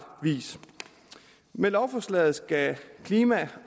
vis med lovforslaget skal klima